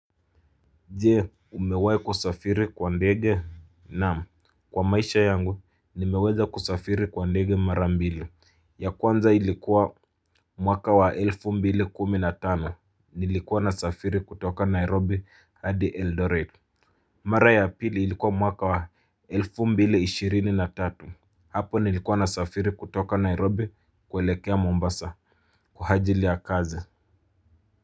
Jee umewai kusafiri kwa ndege naam kwa maisha yangu nimeweza kusafiri kwa ndege marambili ya kwanza ilikuwa mwaka wa elfu mbili kuminatano nilikuwa na safiri kutoka Nairobi hadi Eldoret. Mara ya apili ilikuwa mwaka wa elfu mbili ishirini na tatu. Hapo nilikuwa na safiri kutoka Nairobi kuelekea Mombasa kwa ajili ya kazi.